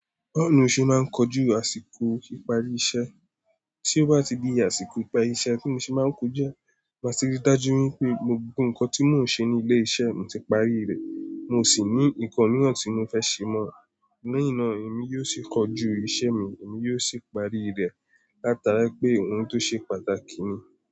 Báwo ni o ṣe máa ń kojú àsìkò ìparí iṣẹ́? Tí ó bá ti di àsìkò ìparí iṣẹ́ tí mo ṣe máa ń kọjá, màá ti rí dájú wípé gbogbo ǹnkan tí mò ń ṣe ní ilé iṣẹ́ mi ti parí rẹ̀. Mo sì ní ǹnkan mìíràn tí mo fẹ́ ṣe mọ́, léyìn náà èmi yóò sì kọjú iṣẹ́ mi, èmi yóò sì parí rẹ̀ látara pé òhun tó ṣe pàtàkì ni.